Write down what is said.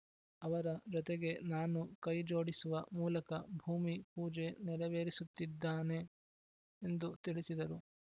ಅವರ ಜೊತೆಗೆ ನಾನೂ ಕೈ ಜೋಡಿಸುವ ಮೂಲಕ ಭೂಮಿ ಪೂಜೆ ನೆರವೇರಿಸುತ್ತಿದ್ದಾನೆ ಎಂದು ತಿಳಿಸಿದರು